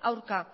aurka